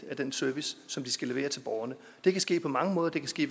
i den service som vi skal levere til borgerne det kan ske på mange måder det kan ske